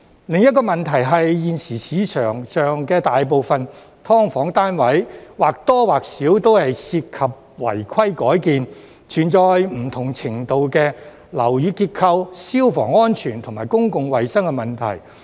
另一個問題是，現時市場上大部分"劏房"單位，或多或少都涉及違規改建，存在不同程度的樓宇結構、消防安全和公共衞生問題。